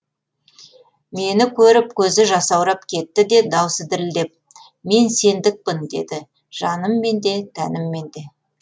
мені көріп көзі жасаурап кетті де дауысы дірілдеп мен сендікпін деді жаныммен де тәніммен де